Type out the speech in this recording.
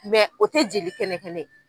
o tɛ jeli kɛnɛ kɛnɛ ye.